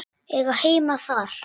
Eiga heima þar.